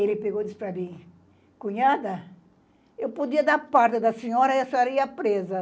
Ele pegou e disse para mim, cunhada, eu podia dar parte da senhora e a senhora ia presa.